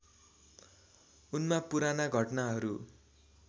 उनमा पुराना घटनाहरू